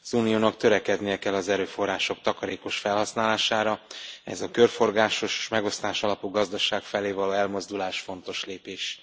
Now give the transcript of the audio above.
Az Uniónak törekednie kell az erőforrások takarékos felhasználására, ehhez a körforgásos és megosztásalapú gazdaság felé való elmozdulás fontos lépés.